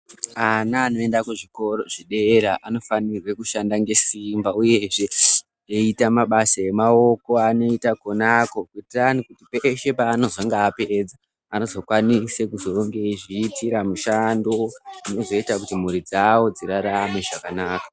Ana anoenda kuzvikora zvedera anofanirwa kushanda nesimba uyezve zveita mabasa emaoko anoita Konako kuti peshe panonga apedza anokwanisa kuronga nekuzozviitira mishando inozoita mhuri dzawo dzirarame zvakanaka.